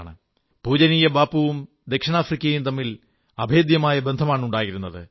പൂജനീയ ബാപ്പുവും ദക്ഷിണാഫ്രിക്കയും തമ്മിൽ അഭേദ്യമായ ബന്ധമാണുണ്ടായിരുന്നത്